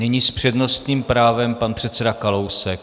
Nyní s přednostním právem pan předseda Kalousek.